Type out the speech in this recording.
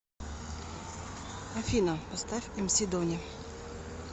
афина поставь эмси дони